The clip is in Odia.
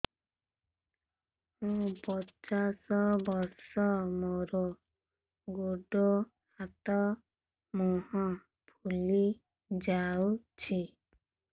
ମୁ ପଚାଶ ବର୍ଷ ମୋର ଗୋଡ ହାତ ମୁହଁ ଫୁଲି ଯାଉଛି